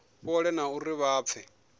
fhole na uri vha pfe